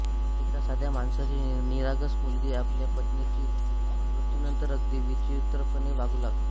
एका साध्या माणसाची निरागस मुलगी आपल्या पत्नीच्या मृत्यूनंतर अगदी विचित्रपणे वागू लागते